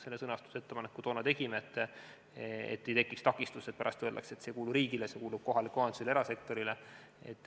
Selle sõnastusettepaneku me toona tegime, et ei tekiks mingeid takistusi ja et pärast ei öeldaks, et see ei kuulu riigile, see kuulub kohalikule omavalitsusele või erasektorile.